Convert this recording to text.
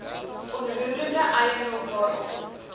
onroerende eiendom waarop